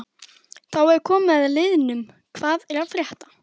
Þá er komið að liðnum Hvað er að frétta?